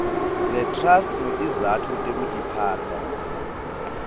letrust ngetizatfu tekutiphatsa